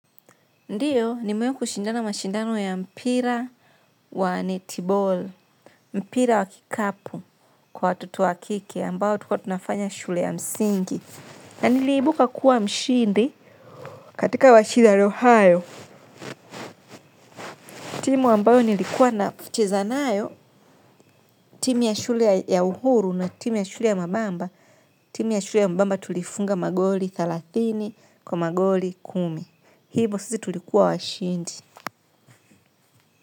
Ndyo nimewahi kushindana mashindano ya mpira wa netiball. Mpira wa kikapu kwa watoto wa kike ambao tulikuwa tunafanya shule ya msingi. Na niliibuka kuwa mshindi katika mashindano hayo. Timu ambayo nilikuwa na cheza nayo. Timu ya shule ya uhuru na timu ya shule ya mabamba. Timu ya shule ya mabamba tulifunga magoli thelathini kwa magoli kumi. Hivo sisi tulikuwa washindi.